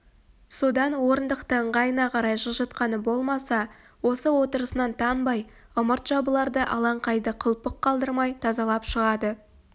содан орындықты ыңғайына қарай жылжытқаны болмаса осы отырысынан танбай ымырт жабыларда алаңқайды қылпық қалдырмай тазалап шығады